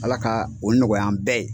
Ala ka o nɔgɔya an bɛɛ ye.